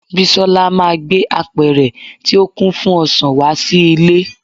bisola ma gbe apẹrẹ ti o kin fún ọsàn wá sí ilẹ